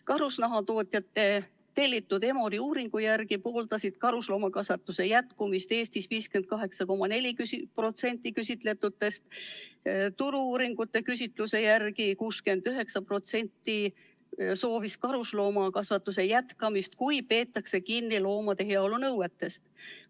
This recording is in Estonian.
Karusnahatootjate tellitud Emori uuringu järgi pooldas karusloomakasvatuse jätkumist Eestis 58,4% küsitletutest, Turu-uuringute AS-i küsitluse järgi soovis 69% karusloomakasvatuse jätkamist, kui peetakse kinni loomade heaolu nõuetest.